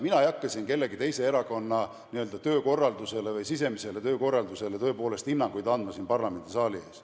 Mina ei hakka siin ühegi teise erakonna n-ö sisemisele töökorraldusele parlamendisaali ees hinnanguid andma.